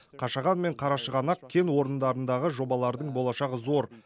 қашаған мен қарашығанақ кен орындарындағы жобалардың болашағы зор